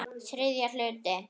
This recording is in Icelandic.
Þriðji hluti